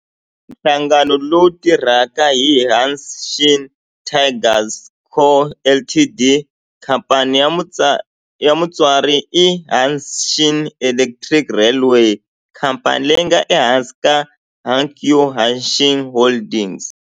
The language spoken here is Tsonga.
Nhlangano lowu tirhaka i Hanshin Tigers Co., Ltd. Khamphani ya mutswari i Hanshin Electric Railway, khamphani leyi nga ehansi ka Hankyu Hanshin Holdings.